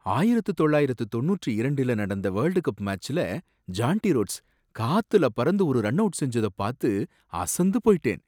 ஆயிரத்து தொள்ளாயிரத்து தொண்ணூற்று இரண்டுல நடந்த வேர்ல்ட் கப் மாட்ச்ல ஜாண்டி ரோட்ஸ், காத்துல பறந்து ஒரு ரன்அவுட் செஞ்சத பாத்து அசந்து போயிட்டேன்.